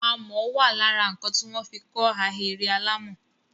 Amọ̀ wà lára nǹkan tí wọ́n fi kọ́ ahéré alàmọ̀.